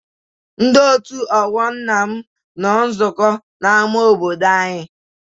Ndị òtù ọgbọ nna m nọ nzukọ n'ama obodo anyị.